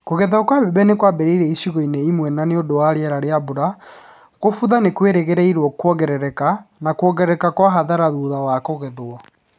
Kũgethwo kwa mbembe nĩ kwambĩrĩirie icigo-inĩ imwe na nĩ ũndũ wa rĩera rĩa mbura, kũbutha nĩ kũrerĩgĩrĩrũo kwongerereke na kwongerereka kwa hathara thutha wa kũgethwo.